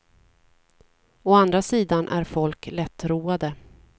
Å andra sidan är folk lättroade.